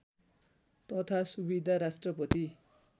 तथा सुविधा राष्ट्रपति